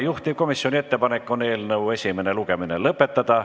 Juhtivkomisjoni ettepanek on eelnõu esimene lugemine lõpetada.